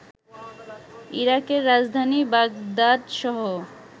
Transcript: ইরাকের রাজধানী বাগদাদসহ